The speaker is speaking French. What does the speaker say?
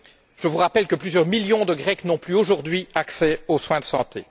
Je vous rappelle que plusieurs millions de Grecs n'ont plus, aujourd'hui, accès aux soins de santé.